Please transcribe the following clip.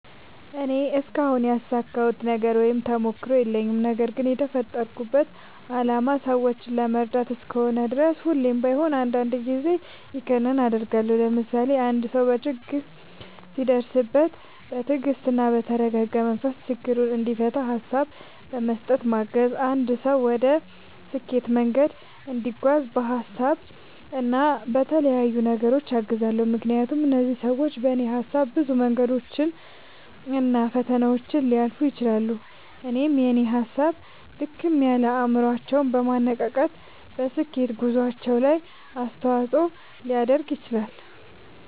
እኔ እስካሁን ያሳካሁት ነገር ወይም ተሞክሮ የለኝም። ነገርግን የተፈጠርኩበት አላማ ሰዎችን ለመርዳት እስከሆነ ድረስ ሁሌም ባይሆን አንዳንድ ጊዜ ይኸንን አደርጋለሁ። ለምሳሌ፦ አንድ ሰው ችግር ሲደርስበት በትግስትና በተረጋጋ መንፈስ ችግሩን እንዲፈታ ሀሳብ በመስጠት ማገዝ፣ አንድ ሰው ወደ ስኬት መንገድ እንዲጓዝ በሀሳብ እና በተለያዩ ነገሮች አግዛለሁ። ምክንያቱም እነዚህ ሰዎች በኔ ሀሳብ ብዙ መንገዶችን እና ፈተናዎችን ሊያልፉ ይችላሉ። እናም የኔ ሀሳብ ድክም ያለ አይምሮአቸውን በማነቃቃት በስኬት ጉዞአቸው ላይ አስተዋጽኦ ሊያደርግ ይችላል።